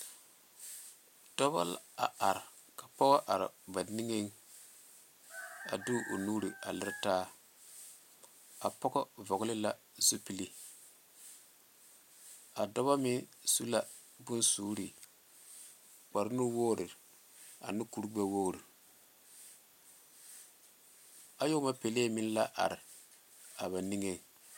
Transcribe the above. Dɔba la a are ka pɔga are ba niŋeŋ a de o nuure a lere taa a pɔga vɔgele la zupilee a dɔba meŋ su la bonsuure kparre nuwogiri ne kuri gbɛwogiri ayɔɔma pɛlee miŋ la are a ba niŋeŋ